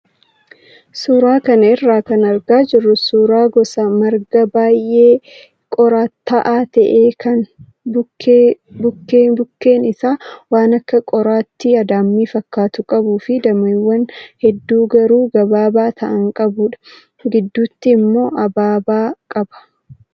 Suuraa kana irraa kan argaa jirru suuraa gosa margaa baay'ee qoraatta'aa ta'e kan bukkeen bukkeen isaa waan akka qoraattii adaamii fakkaatu qabuu fi dameewwan hedduu garuu gabaabaa ta'an qabudha. Gidduutti immoo ababaa qaba.